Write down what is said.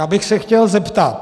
Já bych se chtěl zeptat.